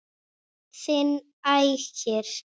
Þinn Ægir.